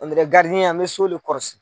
na n mɛ so le kɔrɔsi.